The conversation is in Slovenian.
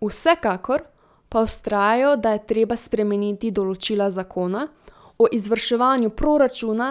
Vsekakor pa vztrajajo, da je treba spremeniti določila zakona o izvrševanju proračuna